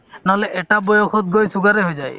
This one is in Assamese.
নহ'লে এটা বয়সত গৈ sugar য়ে হৈ যায়